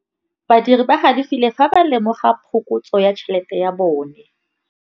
Badiri ba galefile fa ba lemoga phokotsô ya tšhelête ya bone.